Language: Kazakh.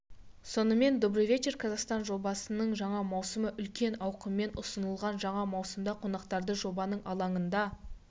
сонымен добрый вечер казахстан жобасының жаңа маусымы үлкен ауқыммен ұсынылған жаңа маусымда қонақтарды жобаның алаңында